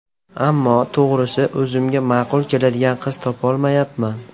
Ammo, to‘g‘risi, o‘zimga ma’qul keladigan qiz topolmayapman.